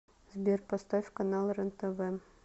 сбер поставь канал рентв